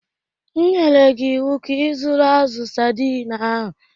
M nyere gị ịwụ ka ịzụrụ azụ̀ saidin ahụ!